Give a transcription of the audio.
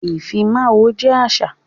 Ifímáwó jẹ àṣà.